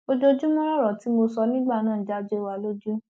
ojoojúmọ lọrọ tí mo sọ nígbà náà ń já jó wa lójú